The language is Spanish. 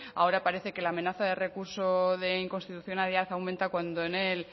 ahora parece que la amenaza de recurso de inconstitucionalidad aumenta cuando en el